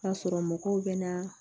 K'a sɔrɔ mɔgɔw bɛ na